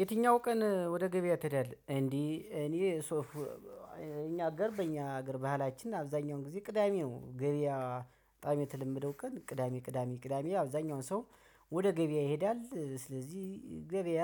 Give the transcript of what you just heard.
የትኛው ቀን ወደ ገበያ ትሄዳለህ? እንዴ እኔ ሶፍ እኛ ጋር በእኛ ሀገር ባህላችን አብዛኛውን ጊዜ ቅዳሜ ነው ገበያ በጣም የተለመደው ቀን ቅዳሜ ቅዳሜ ቅዳሜ አብዛኛውን ሰው ወደ ገበያ ይሄዳል። ስለዚህ ገበያ